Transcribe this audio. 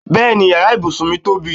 Bẹ́ẹ̀ni yàrá ibùsùn mí tóbi